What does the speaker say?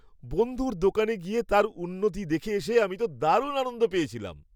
বন্ধুর দোকানে গিয়ে তার উন্নতি দেখে এসে আমি তো দারুণ আনন্দ পেয়েছিলাম।